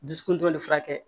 Dusukun dɔnni furakɛ